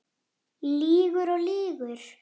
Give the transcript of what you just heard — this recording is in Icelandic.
Lýgur og lýgur.